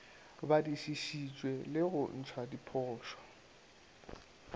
badišišitšwe le go ntšhwa diphošo